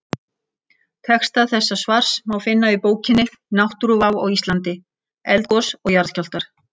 Texta þessa svars má finna í bókinni Náttúruvá á Íslandi: Eldgos og jarðskjálftar.